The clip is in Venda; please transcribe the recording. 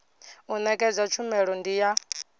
u nekedza tshumelo ndi ya